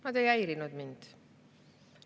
Nad ei häirinud mind.